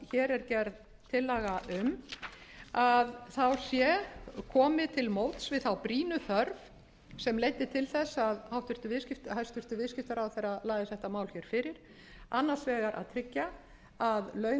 hér er gerð tillaga um sé komið til móts við þá brýnu þörf sem leiddi til þess að hæstvirtur viðskiptaráðherra lagði þetta mál hér fyrir annars vegar að tryggja að laun